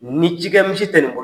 Nin cikɛmisi tɛ nin bo